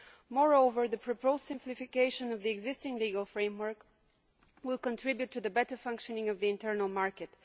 Moreover, the proposed simplification of the existing legal framework will contribute to the better functioning of the internal market.